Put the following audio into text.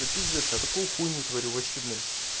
да пиздец я такую хуйня творю вообще блин